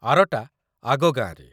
ଆରଟା ଆଗ ଗାଁରେ ।